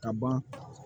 Ka ban